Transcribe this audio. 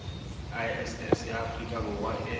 iss ya afrika borwa e